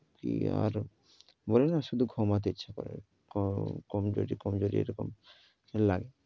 কি আর বলেনা শুধু ঘুমাতে ইচ্ছে করে। কমজুরি কমজুরি এরকম লাগে।